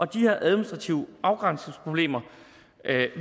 de her administrative afgrænsningsproblemer